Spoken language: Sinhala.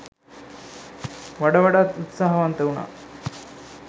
වඩ වඩාත් උත්සාහවන්ත වුනා.